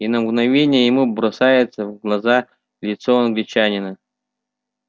и на мгновение ему бросается в глаза лицо англичанина